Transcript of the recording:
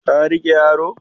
ka rike yaro?